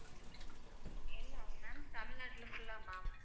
எல்லாம் ma'am தமிழ்நாட்டுல full ஆ ma'am